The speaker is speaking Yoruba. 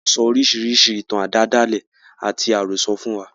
Wọn sọ oríṣiríṣi ìtàn àdáádálẹ̀ àti àròsọ̀ fún wa.